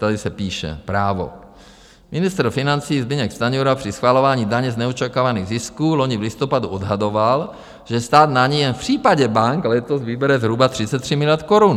Tady se píše, Právo: "Ministr financí Zbyněk Stanjura při schvalování daně z neočekávaných zisků loni v listopadu odhadoval, že stát na ni jen v případě bank letos vybere zhruba 33 miliard korun.